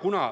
Kuna